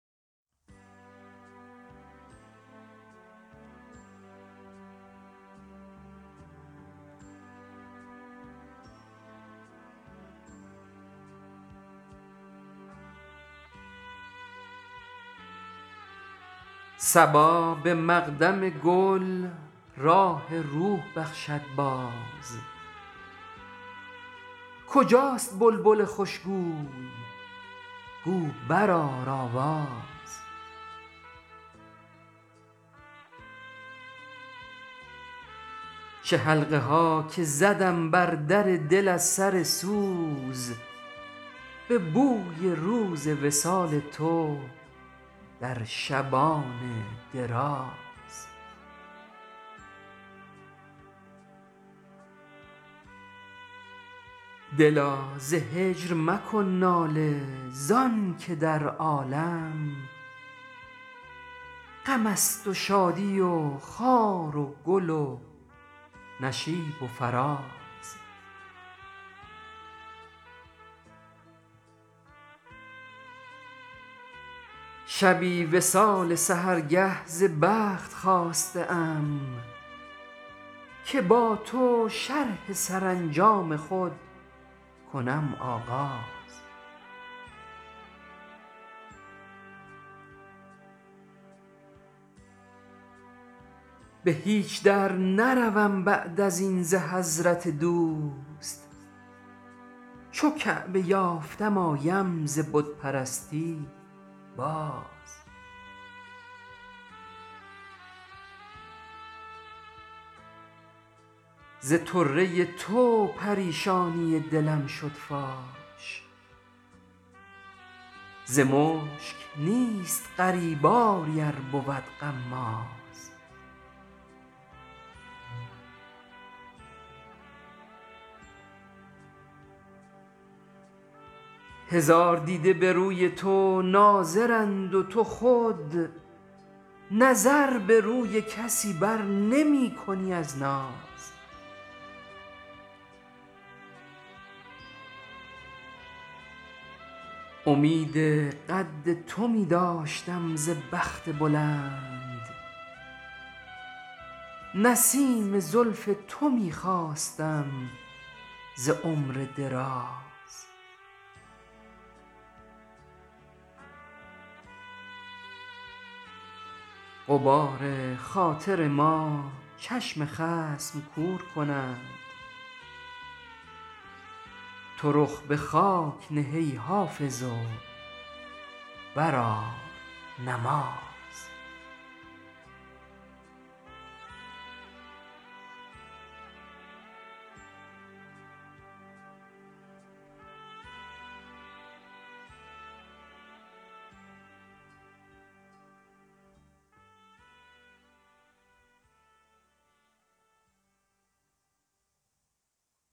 صبا به مقدم گل راح روح بخشد باز کجاست بلبل خوشگوی گو برآر آواز چه حلقه ها که زدم بر در دل از سر سوز به بوی روز وصال تو در شبان دراز دلا ز هجر مکن ناله زان که در عالم غم است و شادی و خار و گل و نشیب و فراز شبی وصال سحرگه ز بخت خواسته ام که با تو شرح سرانجام خود کنم آغاز به هیچ در نروم بعد از این ز حضرت دوست چو کعبه یافتم آیم ز بت پرستی باز ز طره تو پریشانی دلم شد فاش ز مشک نیست غریب آری ار بود غماز هزار دیده به روی تو ناظرند و تو خود نظر به روی کسی بر نمی کنی از ناز امید قد تو می داشتم ز بخت بلند نسیم زلف تو می خواستم ز عمر دراز غبار خاطر ما چشم خصم کور کند تو رخ به خاک نه ای حافظ و بر آر نماز